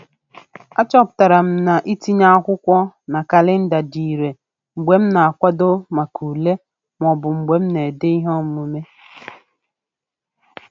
A chọpụtara m na itinye akwụkwọ na kalịnda dị ire mgbe m na-akwado maka ule maọbụ mgbe m na-ede ihe omume.